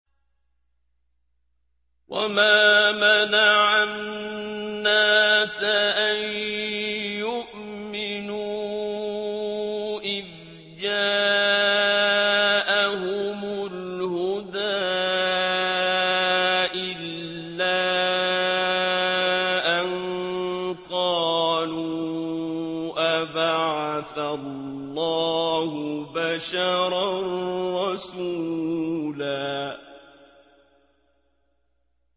وَمَا مَنَعَ النَّاسَ أَن يُؤْمِنُوا إِذْ جَاءَهُمُ الْهُدَىٰ إِلَّا أَن قَالُوا أَبَعَثَ اللَّهُ بَشَرًا رَّسُولًا